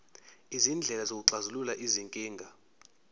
izindlela zokuxazulula izinkinga